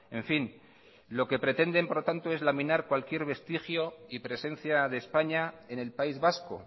en fin lo que pretenden es por lo tanto es laminar cualquier vestigio y presencia de españa en el país vasco